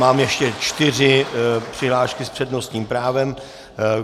Mám ještě čtyři přihlášky s přednostním právem.